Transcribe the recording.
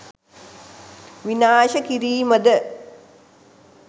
විනාශ කිරීම ද?